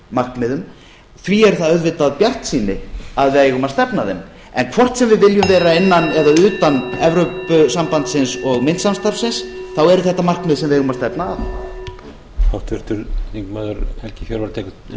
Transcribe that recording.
markmiðum því er það auðvitað bjartsýni að við eigum að stefna að þeim en hvort sem við viljum vera innan eða utan evrópusambandsins og myntsamstarfsins þá eru þetta markmið sem við eigum að stefna að